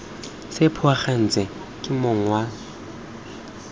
se phuagantswe ke mong wa